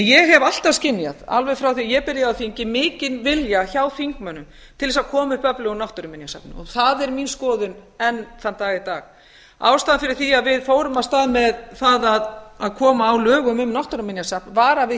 ég hef alltaf skynjað alveg frá því ég byrjaði á þingi mikinn vilja hjá þingmönnum til þess að koma upp öflugu náttúruminjasafni það er mín skoðun enn þann dag í dag ástæðan fyrir því að við fórum af stað með það að koma á lögum um náttúruminjasafn var að við